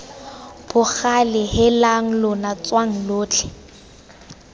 bogale heelang lona tswang lotlhe